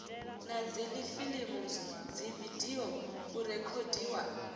na dzifilimu dzividio u rekhodiwa